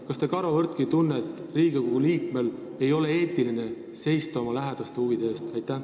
Kas te karvavõrdki ei tunne, et Riigikogu liikmel ei ole eetiline seista oma lähedaste huvide eest?